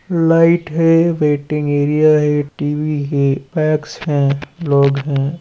Light है waiting area है T. V. है पैक्स है लोग है।